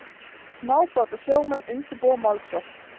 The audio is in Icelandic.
Smábátasjómenn undirbúa málsókn